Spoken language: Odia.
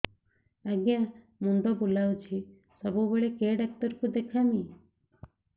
ଆଜ୍ଞା ମୁଣ୍ଡ ବୁଲାଉଛି ସବୁବେଳେ କେ ଡାକ୍ତର କୁ ଦେଖାମି